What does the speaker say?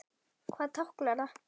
Hvað táknar það?